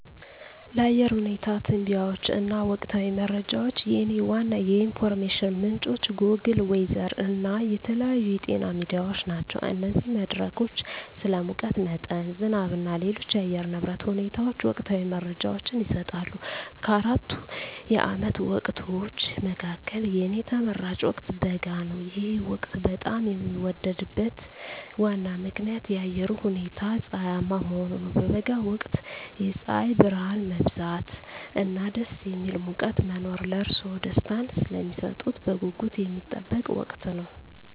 ለአየር ሁኔታ ትንበያዎች እና ወቅታዊ መረጃዎች፣ የእኔ ዋና የኢንፎርሜሽን ምንጮች ጎግል ዌዘር እና የተለያዩ የዜና ሚዲያዎች ናቸው። እነዚህ መድረኮች ስለ ሙቀት መጠን፣ ዝናብ እና ሌሎች የአየር ንብረት ሁኔታዎች ወቅታዊ መረጃዎችን ይሰጣሉ። ከአራቱ የዓመት ወቅቶች መካከል፣ የእኔ ተመራጭ ወቅት በጋ ነው። ይህ ወቅት በጣም የሚወደድበት ዋና ምክንያት የአየሩ ሁኔታ ፀሐያማ መሆኑ ነው። በበጋ ወቅት የፀሐይ ብርሃን መብዛት እና ደስ የሚል ሙቀት መኖር ለእርስዎ ደስታን ስለሚሰጡት በጉጉት የሚጠበቅ ወቅት ነው።